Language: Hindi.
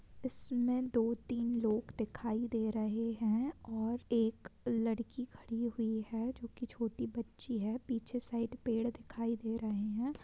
इसमे दो तीन लोग दिखाई दे रहे हैं और एक लड़की खड़ी हुई है जो की छोटी बच्ची है | पीछे साइड पेड़ दिखाई दे रहे हैं ।